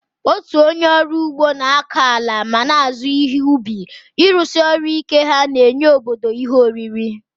Otu onye ọrụ ugbo na-akọ ala ma na-azụ ihe ubi, ịrụsi ọrụ ike ha na-enye ndị obodo ihe oriri.